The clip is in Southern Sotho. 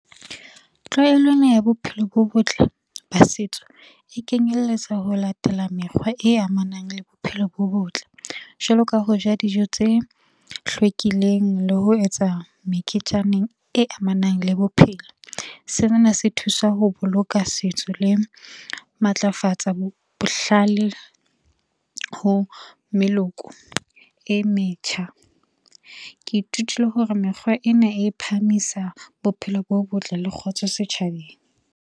Tlwaelo ena ya bophelo bo botle ba setso e kenyelletsa ho latela mekgwa e amanang le bophelo bo botle, jwalo ka ho ja dijo tse hlwekileng le ho etsa meketjaneng e amanang le bophelo. Sena se thusa ho boloka setso le matlafatsa bohlale ho meloko e metjha. Ke ithutile hore mekgwa ena e phahamisa bophelo bo botle le kgotso setjhabeng.